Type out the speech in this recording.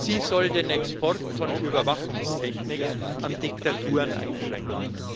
Sie soll den Export von Überwachungstechnik an Diktaturen einschränken.